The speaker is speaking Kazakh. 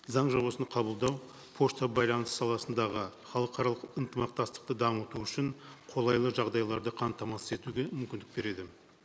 заң жобасын қабылдау пошта байланыс саласындағы халықаралық ынтымақтастықты дамыту үшін қолайлы жағдайларды қамтамасыз етуге мүмкіндік береді